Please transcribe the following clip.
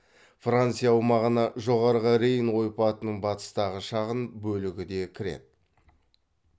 франция аумағына жоғарғы рейн ойпатының батыстағы шағын бөлігі де кіреді